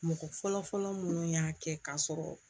Mɔgɔ fɔlɔfɔlɔ minnu y'a kɛ k'a sɔrɔ